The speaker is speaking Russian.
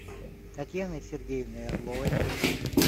татьяной сергеевной орловой